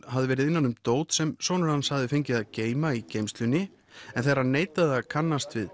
hafði verið innan um dót sem sonur hans hafði fengið að geyma í geymslunni en þegar hann neitaði að kannast við